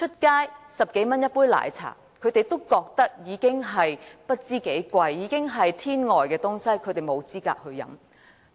街外10多元一杯奶茶，他們覺得十分昂貴，是上好的東西，他們沒有資格享用。